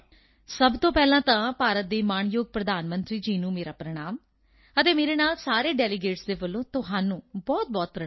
ਸਭ ਤੋਂ ਪਹਿਲਾਂ ਤਾਂ ਭਾਰਤ ਦੇ ਮਾਣਯੋਗ ਪ੍ਰਧਾਨ ਮੰਤਰੀ ਜੀ ਨੂੰ ਮੇਰਾ ਪ੍ਰਣਾਮ ਅਤੇ ਮੇਰੇ ਨਾਲ ਸਾਰੇ ਡੈਲੀਗੇਟਸ ਵੱਲੋਂ ਤੁਹਾਨੂੰ ਬਹੁਤਬਹੁਤ ਪ੍ਰਣਾਮ